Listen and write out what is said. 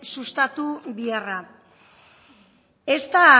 sustatu biharra ez da